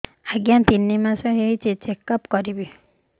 ଆଜ୍ଞା ତିନି ମାସ ହେଇଛି ଚେକ ଅପ କରିବି